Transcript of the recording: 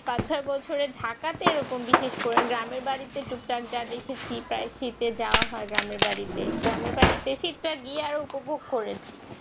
এ বছর ঢাকাতে এরকম বিশেষ করে গ্রামের বাড়িতে যার যা বেশি সেট তাই শীতে যা হয় গ্রামের বাড়িতে গ্রামের বাড়িতে সিটটা গিয়ে উপভোগ করেছি